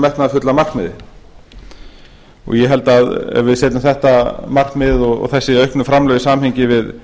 metnaðarfulla markmiði ég held að ef við setjum þetta markmið og þessi auknu framlög í samhengi við